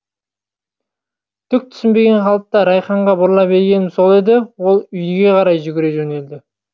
түк түсінбеген қалыпта райханға бұрыла бергенім сол еді ол үйге қарай жүгіре жөнелді